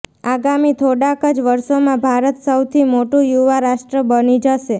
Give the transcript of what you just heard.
આગામી થોડાંક જ વર્ષોમાં ભારત સૌથી મોટું યુવા રાષ્ટ્ર બની જશે